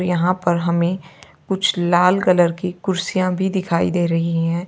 यहां पर हमें कुछ लाल कलर की कुर्सियां भी दिखाई दे रही हैं।